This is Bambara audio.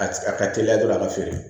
A a ka teliya dɔrɔn a ka feere